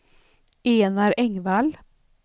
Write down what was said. Enar Engvall